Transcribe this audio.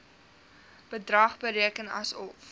bedrag bereken asof